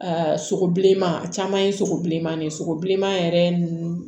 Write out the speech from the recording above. Aa sogo bilenman a caman ye sogo bilenman de ye sogo bilenman yɛrɛ